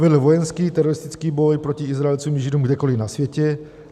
Vedl vojenský, teroristický boj proti Izraelcům i Židům kdekoliv na světě.